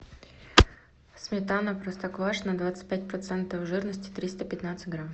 сметана простоквашино двадцать пять процентов жирности триста пятнадцать грамм